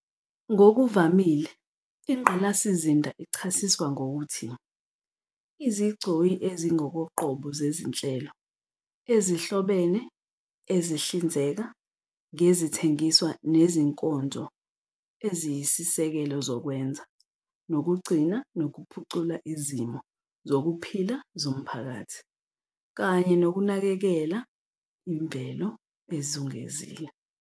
Ngokuvamile, ingqalasizinda ichasiswa ngokuthi "izigcoyi ezingokoqobo zezinhlelo ezihlobene ezihlinzeka ngezithengiswa nezinkonzo eziyisisekelo zokwenza, nokugcina, nokuphucula izimo zokuphila zomphakathi" kanye nokunakekela imvelo ezungezile.